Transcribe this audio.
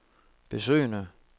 besøgende